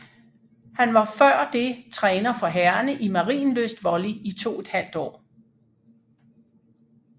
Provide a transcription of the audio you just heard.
Han var før det træner for herrerne i Marienlyst Volley i toethalvt år